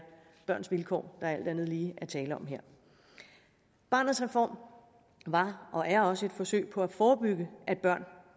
børns vilkår der alt andet lige er tale om her barnets reform var og er også et forsøg på at forebygge at børn